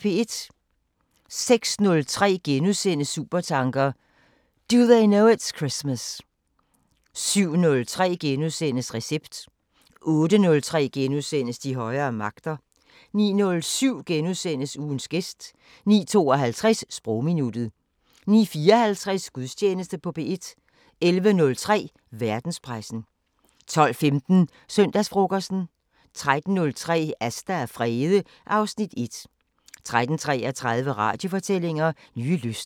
06:03: Supertanker: Do They Know It's Christmas * 07:03: Recept * 08:03: De højere magter * 09:07: Ugens gæst * 09:52: Sprogminuttet 09:54: Gudstjeneste på P1 11:03: Verdenspressen 12:15: Søndagsfrokosten 13:03: Asta og Frede (Afs. 1) 13:33: Radiofortællinger: Nye lyster